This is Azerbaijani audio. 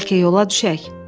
Bəlkə yola düşək?